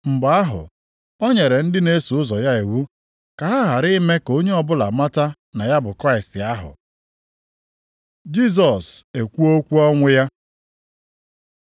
Mgbe ahụ, o nyere ndị na-eso ụzọ ya iwu ka ha ghara ime ka onye ọbụla mata na ya bụ Kraịst ahụ. Jisọs ekwuo okwu ọnwụ ya